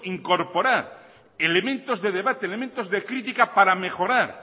incorporar elementos de debate elementos de crítica para mejorar